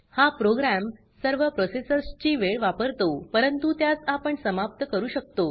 हा प्रोग्राम सर्व प्रॉसेसर्स ची वेळ वापरतो परंतु त्यास आपण समाप्त करू शकतो